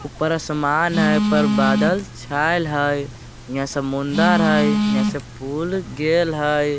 ऊपर आसमान हइ। ऊपर बादल छाएल हइ। हियाँ समुंदर हइ यहाँ से पूल गेल हइ ।